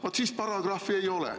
Vaat siis paragrahvi ei ole.